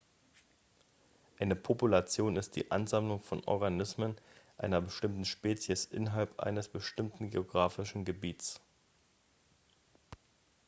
eine population ist die ansammlung von organismen einer bestimmten spezies innerhalb eines bestimmten geografischen gebiets